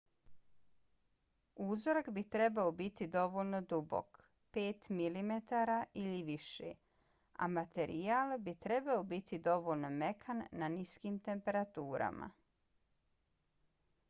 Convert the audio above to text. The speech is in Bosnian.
uzorak bi trebao biti dovoljno dubok 5 mm ili više a materijal bi trebao biti dovoljno mekan na niskim temperaturama